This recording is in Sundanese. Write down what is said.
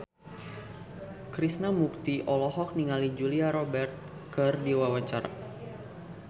Krishna Mukti olohok ningali Julia Robert keur diwawancara